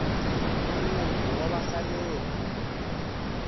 nyanyuko wa vahelleri